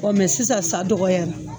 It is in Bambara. mɛ sisan sa dɔgɔyara